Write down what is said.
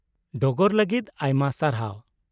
ᱰᱚᱜᱚᱨ ᱞᱟᱹᱜᱤᱫ ᱟᱭᱢᱟ ᱥᱟᱨᱦᱟᱣ ᱾